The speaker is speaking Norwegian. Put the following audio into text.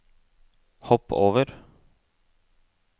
hopp over